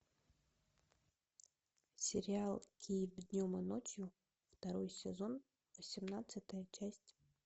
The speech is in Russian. сериал киев днем и ночью второй сезон восемнадцатая часть